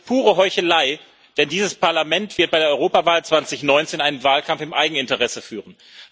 Das ist pure Heuchelei, denn dieses Parlament wird bei der Europawahl 2019 einen Wahlkampf im Eigeninteresse führen.